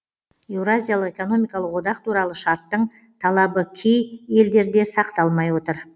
еуразиялық экономикалық одақ туралы шарттың талабы кей елдерде сақталмай отыр